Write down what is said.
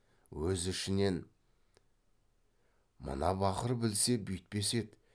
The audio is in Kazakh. өз ішінен мына бақыр білсе бүйтпес еді